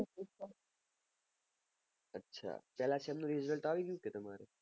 અચ્છા પેલા sem નું result આવી ગયું